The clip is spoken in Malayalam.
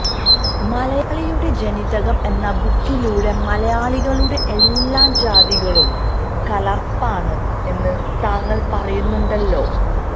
മലയാളിയുടെ ജനിതകം എന്ന ബുക്കിലൂടെ മലയാളികളുടെ എല്ലാ ജാതികളും കലര്പ്പാണ് എന്ന് താങ്കള് പറയുന്നുണ്ടല്ലോ